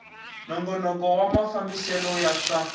nongonoko wa mafambisele ya swa